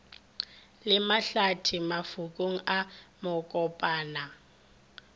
le mahlathi mafokong a makopana